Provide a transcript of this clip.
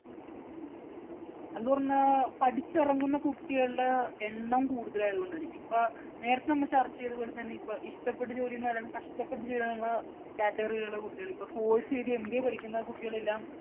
എന്ന് പറഞ്ഞാൽ പഠിച്ചിറങ്ങുന്ന കുട്ടികളുടെ എണ്ണം കൂടുതലായതുകൊണ്ടായിരിക്കും. ഇപ്പോൾ നേരത്തെ നമ്മള് ചര്‍ച്ച ചെയ്ത പോലെ തന്നെ ഇപ്പോ ഇഷ്ടപ്പെട്ട ജോലി ചെയ്യുന്നവരും കഷ്ടപ്പെട്ട് ജോലി ചെയ്യുന്ന category യില്‍ ഉള്ള കുട്ടികള്‍ ഇപ്പം force ചെയ്ത് MBA പഠിക്കുന്ന കുട്ടികളെല്ലാം